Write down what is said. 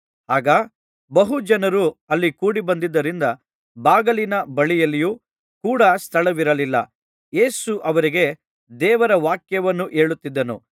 ಆಗ ಬಹು ಜನರು ಅಲ್ಲಿ ಕೂಡಿಬಂದಿದ್ದರಿಂದ ಬಾಗಿಲಿನ ಬಳಿಯಲ್ಲಿಯೂ ಕೂಡ ಸ್ಥಳವಿರಲಿಲ್ಲ ಯೇಸು ಅವರಿಗೆ ದೇವರ ವಾಕ್ಯವನ್ನು ಹೇಳುತ್ತಿದ್ದನು